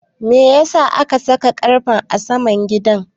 Meyasa aka saka wayoyin ƙarfe a saman gidan?